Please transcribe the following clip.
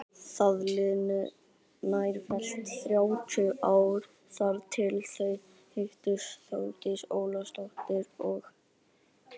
Það liðu nærfellt þrjátíu ár þar til þau hittust Þórdís Ólafsdóttir og